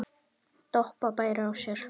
Doppa bærir á sér.